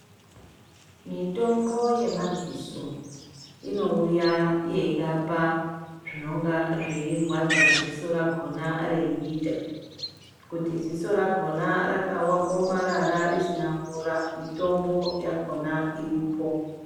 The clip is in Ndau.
Mitombo yemadziso inouya yeirapa zvinonga zveirwadza dziso rakhona reiita, kuti dziso rakhona rakaomarara risina mvura mitombo yakhona iripo.